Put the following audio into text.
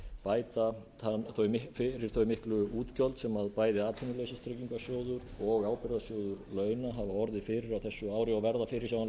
bæta fyrir þau miklu útgjöld sem bæði atvinnuleysistryggingasjóður og ábyrgðasjóður launa hafa orðið fyrir á þessu ári og verða fyrirsjáanlega fyrir á næstu